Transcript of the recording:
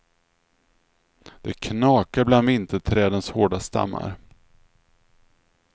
Det knakar bland vinterträdens hårda stammar.